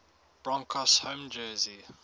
broncos home jersey